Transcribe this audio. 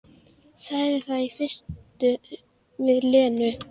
Sagði það í fyrstu við Lenu.